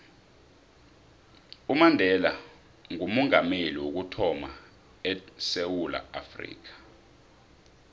umandela ngoomongameli wokuthama edewula afrika